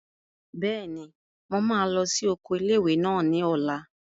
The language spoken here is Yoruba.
Bẹ́ẹ̀ni, mo máa lọ sí oko ilé-ìwé náà ní ọ̀la